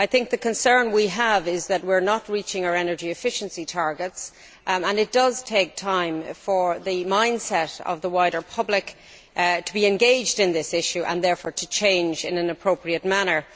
The concern we have is that we are not reaching our energy efficiency targets, as it will take time for the mindset of the wider public to be engaged in this issue and therefore to change in an appropriate manner.